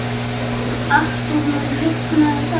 Artúr, mun rigna í dag?